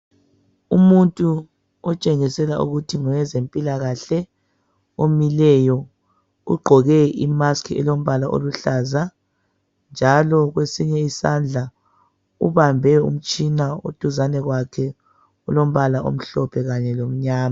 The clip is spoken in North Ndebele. Umuntu otshengisela ukuthi ngowe zempilakahle omileyo ugqoke i mask elombala oluhlaza njalo kwesinye isandla ubambe umtshina oduzane kwakhe olombala omhlophe kanye lomnyama.